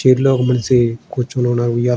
chair